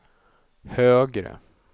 högre